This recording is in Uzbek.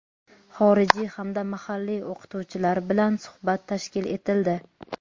xorijiy hamda mahalliy o‘qituvchilar bilan suhbat tashkil etildi.